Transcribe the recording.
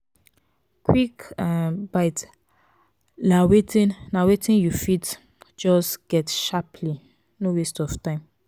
quick um bites na wetin na wetin you fit um get sharply no waste of time